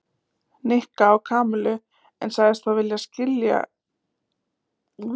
Nikka á Kamillu en sagðist þó vel skilja Nikka.